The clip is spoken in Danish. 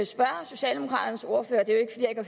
spørge socialdemokraternes ordfører det